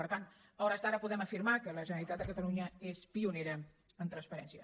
per tant a hores d’ara podem afirmar que la generalitat de catalunya és pionera en transparència